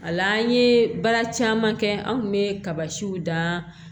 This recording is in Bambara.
A la an ye baara caman kɛ an kun bɛ kaba siw dan